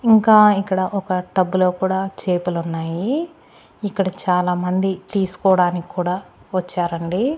ఇంకా ఇక్కడ ఒక టబ్బులో కూడా చేపలున్నాయి ఇక్కడ చాలామంది తీస్కోడానికూడా వచ్చారండి.